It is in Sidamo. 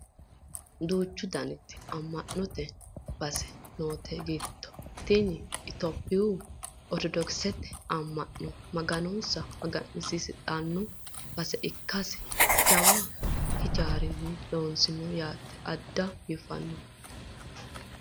duchu daniti amma'note base noote giddo tini itiyophiyu ortodokisete ammanaano maganonsa magansidhanno base ikkasinna jawa hijaara loossinoho yaate addinta biifannoho